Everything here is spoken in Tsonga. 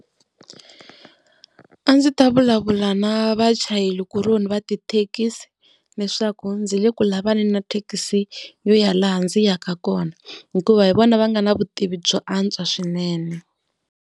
A ndzi ta vulavula na vachayeri kuloni va tithekisi leswaku ndzi le ku lavaneni na thekisi yo ya laha ndzi yaka kona. Hikuva hi vona va nga na vutivi byo antswa swinene.